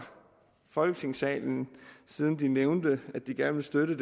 folketingssalen siden de nævnte at de gerne vil støtte